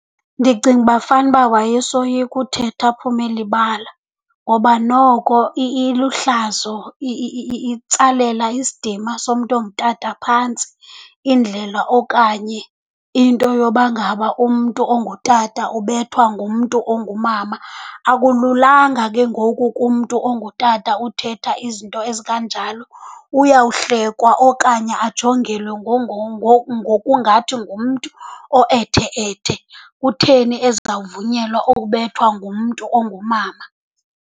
Ndicinga uba fanuba wayesoyika uthetha aphume elibala ngoba noko iluhlazo, itsalela isidima somntu ongutata phantsi indlela okanye into yoba ngaba umntu ongutata ubethwa ngumntu ongumama. Akululanga ke ngoku kumntu ongutata uthetha izinto ezikanjalo. Uyawuhlekwa okanye ajongelwe ngokungathi ngumntu oethe-ethe. Kutheni ezawuvunyelwa ukubethwa ngumntu ongumama?